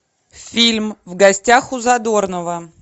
фильм в гостях у задорнова